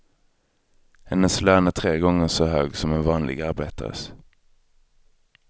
Hennes lön är tre gånger så hög som en vanlig arbetares.